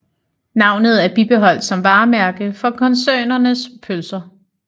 Navnet er bibeholdt som varemærke for koncernens pølser